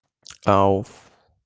ауф